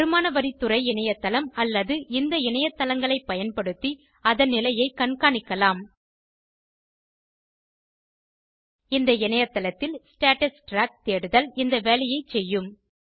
வருமான வரி துறை இணையத்தளம் அல்லது இந்த இணையத்தளங்களைப் பயன்படுத்தி அதன் நிலையைக் கண்காணிக்கலாம் இந்த இணையத்தளத்தில் ஸ்டேட்டஸ் ட்ராக் தேடுதல் இந்த வேலையைச் செய்யும்